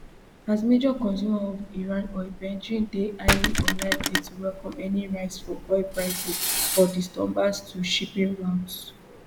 as major consumer of iran oil beijing dey highly unlikely to welcome any rise for oil prices or disturbance to shipping routes